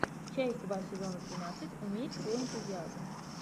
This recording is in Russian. часть два сезона тринадцать умерь свой энтузиазм